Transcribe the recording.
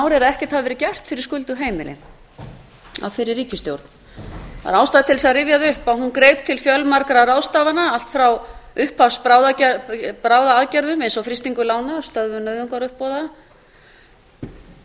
er að ekkert hafi verið gert fyrir skuldug heimili af fyrri ríkisstjórn það er ástæða til að rifja það upp að hún greip til fjölmargra ráðstafana allt frá uppshafsbráðaaðgerðum eins og frystingar lána stöðvunar nauðungaruppboða aðgerð